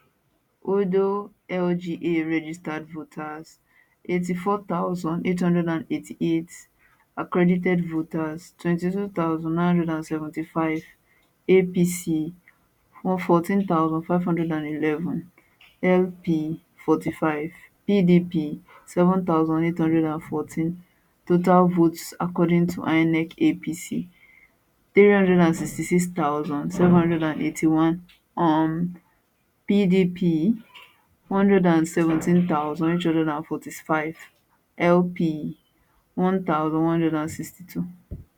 odo lga registered voters 84888 accredited voters 22975 apc 14511 lp 45 pdp 7814 total votes according to inec apc 366781 um pdp 117845 lp 1162